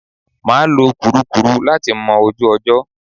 Mà á lo kùrukùru láti mọ ojú ọjọ́.